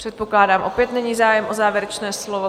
Předpokládám, opět není zájem o závěrečné slovo?